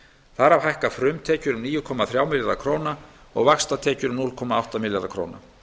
þar af hækka frumtekjur um níu komma þrjá milljarða króna og vaxtatekjur um núll komma átta milljarða króna